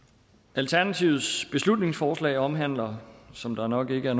alternativets beslutningsforslag omhandler som der nok er